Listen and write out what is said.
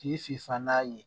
K'i fifa n'a ye